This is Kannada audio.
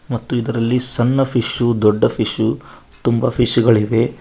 ಮತ್ತು ಇದರಲ್ಲಿ ಸಣ್ಣ ಫಿಷು ದೊಡ್ಡ ಫಿಷು ತುಂಬಾ ಫಿಶ್ ಗಳಿವೆ.